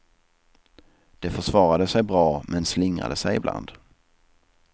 De försvarade sig bra, men slingrade sig ibland.